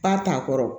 Ba t'a kɔrɔ